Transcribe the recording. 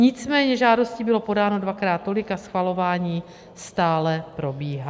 Nicméně žádostí bylo podáno dvakrát tolik a schvalování stále probíhá.